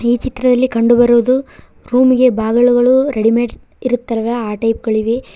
ಈ ಚಿತ್ರದಲ್ಲಿ ಕಂಡು ಬರುವುದು ರೂಮಿ ಗೆ ಬಾಗಿಲುಗಳು ರೆಡಿಮೇಡ್ ಇರುತ್ತವೆ ಆ ಟೈಪ್ ಗಳಿವೆ.